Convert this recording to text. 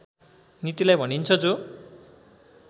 नीतिलाई भनिन्छ जो